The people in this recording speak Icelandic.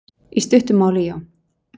Í stuttu máli já.